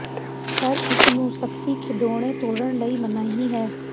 ਪਰ ਇਸ ਨੂੰ ਸਖਤੀ ਖਿਡੌਣੇ ਤੋੜਨ ਲਈ ਮਨਾਹੀ ਹੈ